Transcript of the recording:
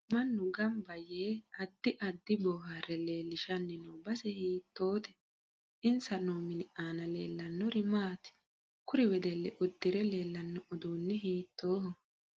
Manny ganba yee addi addi boohaare leelishani noo base hiitoote insa noo mini aana leelanori maati kuri wedelli uddire leelano uduuni hiitooho